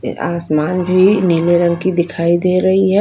ऐ आसमान भी नीले रंग की दिखाई दे रही है।